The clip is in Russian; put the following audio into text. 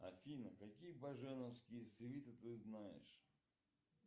афина какие баженовские свиты ты знаешь